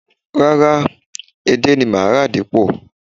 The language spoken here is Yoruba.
Rárá, edé ni màá rà dípò